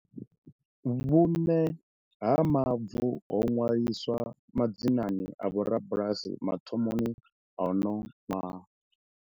Vhuṋe ha mavu ho ṅwaliswa madzinani a vho rabulasi mathomoni a uno ṅwaha.